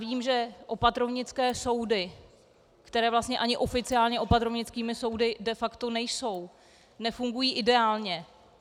Vím, že opatrovnické soudy, které vlastně ani oficiálně opatrovnickými soudy de facto nejsou, nefungují ideálně.